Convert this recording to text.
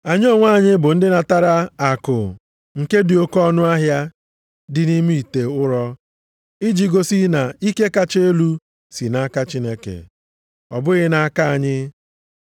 Anyị onwe anyị bụ ndị natara akụ nke dị oke ọnụahịa dị nʼime ite ụrọ, iji gosi na ike kacha elu si nʼaka Chineke, ọ bụghị nʼaka anyị.